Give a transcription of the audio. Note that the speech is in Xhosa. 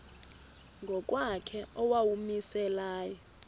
ngokwakhe owawumise layo